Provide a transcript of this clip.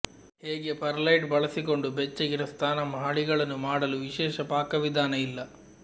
ಹೇಗೆ ಪರ್ಲೈಟ್ ಬಳಸಿಕೊಂಡು ಬೆಚ್ಚಗಿನ ಸ್ನಾನ ಮಹಡಿಗಳನ್ನು ಮಾಡಲು ವಿಶೇಷ ಪಾಕವಿಧಾನ ಇಲ್ಲ